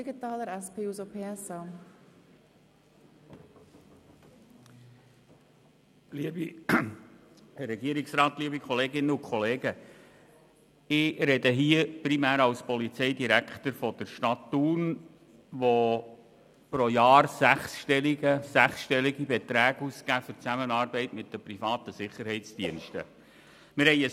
Ich spreche primär als Polizeidirektor der Stadt Thun, die pro Jahr für die Zusammenarbeit mit privaten Sicherheitsdiensten sechsstellige Beträge ausgibt.